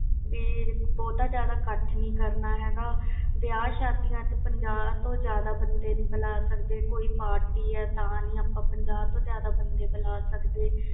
ਬਹੁਤ ਜਿਆਦਾ ਇਕੱਠ ਨਹੀਂ ਕਰਨਾ ਹੈ ਗਾ ਵਿਵਾਹ ਸ਼ਾਦੀਆਂ ਵਿਚ ਪੰਜਾਹ ਤੋਂ ਜਿਆਦਾ ਬੰਦੇ ਨਹੀਂ ਬੁਲਣੇ ਕੋਈ party ਜਾ ਪਾਠ ਵਿਚ ਪੰਜਾਹ ਬੰਦਿਆਂ ਤੋਂ ਜਿਆਦਾ ਨਹੀਂ ਬੁਲਾ ਸਕਦੇ